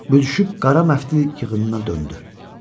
Büzüşüb qara məftil yığınına döndü.